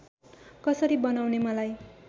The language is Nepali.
कसरी बनाउने मलाई